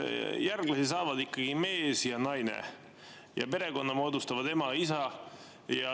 Järglasi saavad ikkagi mees ja naine ning perekonna moodustavad ema ja isa.